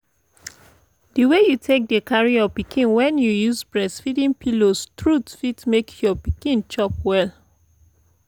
the way you take dey carry your pikin when you use breastfeeding pillows truth fit make your pikin chop well like